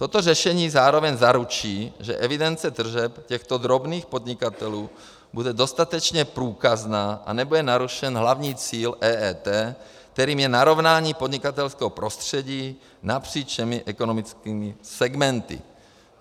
Toto řešení zároveň zaručí, že evidence tržeb těchto drobných podnikatelů bude dostatečně průkazná a nebude narušen hlavní cíl EET, kterým je narovnání podnikatelského prostředí napříč všemi ekonomickými segmenty.